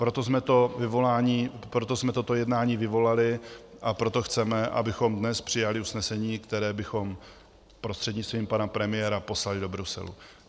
Proto jsme toto jednání vyvolali a proto chceme, abychom dnes přijali usnesení, které bychom prostřednictvím pana premiéra poslali do Bruselu.